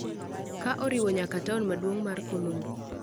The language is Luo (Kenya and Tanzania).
ka oriwo nyaka taon maduong' mar Colombo.